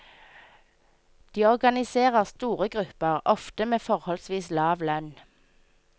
De organiserer store grupper, ofte med forholdsvis lav lønn.